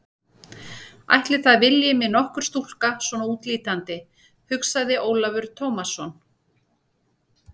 Ætli það vilji mig nokkur stúlka svona útlítandi, hugsaði Ólafur Tómasson.